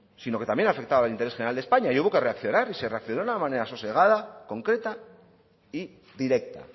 sino que también afectaba al interés general de españa y hubo que reaccionar y se reaccionó de una manera sosegada concreta y directa